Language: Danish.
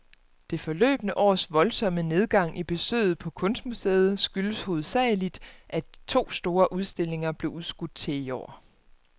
Det forløbne års voldsomme nedgang i besøget på kunstmuseet skyldes hovedsageligt, at to store udstillinger blev udskudt til i år.